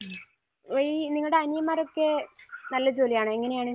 മ്മ്. ഈ നിങ്ങളുടെ അനിയന്മാർ ഒക്കെ നല്ല ജോലിയാണോ? എങ്ങനെയാണ്?